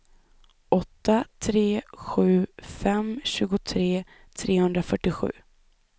åtta tre sju fem tjugotre trehundrafyrtiosju